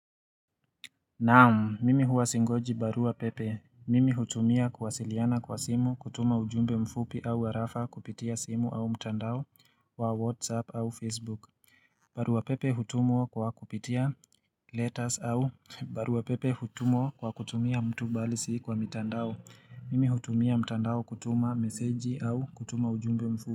Naam mimi huwa singoji barua pepe mimi hutumia kuwasiliana kwa simu kutuma ujumbe mfupi au warafa kupitia simu au mtandao wa whatsapp au facebook barua pepe hutumwa kwa kupitia letters au barua pepe hutumwa kwa kutumia mtu balisi kwa mtandao mimi hutumia mtandao kutuma message au kutuma ujumbe mfupi.